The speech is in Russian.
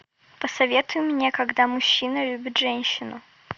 посоветуй мне когда мужчина любит женщину